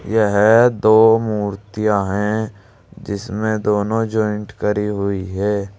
यह दो मूर्तियां हैं जिसमें दोनों जॉइंट करी हुई है।